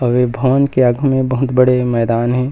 अउ ये भवन के आगु मे बहुत बड़े मैदान हे।